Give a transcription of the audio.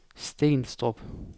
Stenstrup